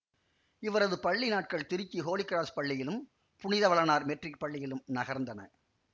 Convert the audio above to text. இவரது பள்ளி நாட்கள் திருச்சி ஹோலி கிராஸ் பள்ளியிலும் புனித வளனார் மெட்ரிக் பள்ளியிலும் நகர்ந்தன